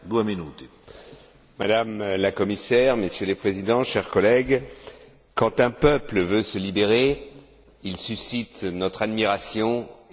Madame la Commissaire, Messieurs les Présidents, chers collègues, quand un peuple veut se libérer, il suscite notre admiration et notre solidarité.